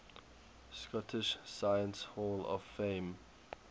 scottish science hall of fame